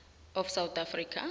of south africa